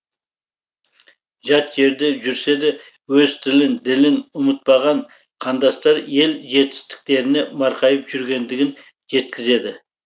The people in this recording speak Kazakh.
жат жерде жүрсе де өз тілін ділін ұмытпаған қандастар ел жетістіктеріне марқайып жүргендігін жеткізеді